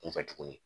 Kunfɛ tuguni